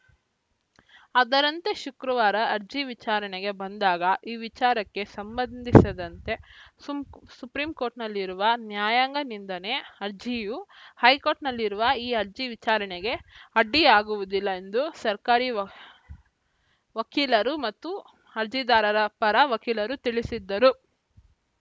ಅದರಂತೆ ಶುಕ್ರವಾರ ಅರ್ಜಿ ವಿಚಾರಣೆಗೆ ಬಂದಾಗ ಈ ವಿಚಾರಕ್ಕೆ ಸಂಬಂಧಿಸಿದಂತೆ ಸುಪ್ರೀಂಕೋರ್ಟ್‌ನಲ್ಲಿರುವ ನ್ಯಾಯಾಂಗ ನಿಂದನೆ ಅರ್ಜಿಯು ಹೈಕೋರ್ಟ್‌ನಲ್ಲಿರುವ ಈ ಅರ್ಜಿ ವಿಚಾರಣೆಗೆ ಅಡ್ಡಿಯಾಗುವುದಿಲ್ಲ ಎಂದು ಸರ್ಕಾರಿ ವಕ್ ವಕೀಲರು ಮತ್ತು ಅರ್ಜಿದಾರರ ಪರ ವಕೀಲರು ತಿಳಿಸಿದರು